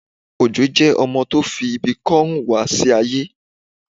Òjó jẹ ọmọ tó fi ibi kò rún wá sí aye